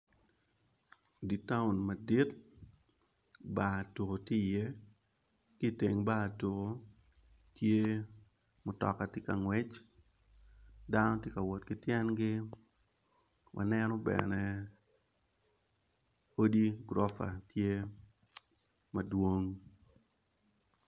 Dye towm madit bar tuko tye i ye kiteng bar tuko tye mutoka tye ka ngwec dano tye ka wot kityengi waneno bene odi gurofa tye madwong.